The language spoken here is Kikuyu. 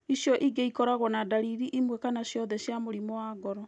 Icio ingĩ ĩkoragũo na ndariri imwe kana ciothe cia mũrimũ wa ngoro.